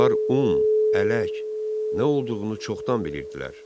Onlar un, ələk nə olduğunu çoxdan bilirdilər.